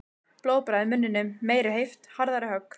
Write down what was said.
Blóðbragð í munninum. meiri heift. harðari högg.